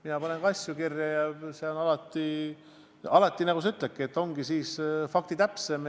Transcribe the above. Mina panen ka asju kirja ja see on alati, nagu sinagi ütled, faktitäpsem.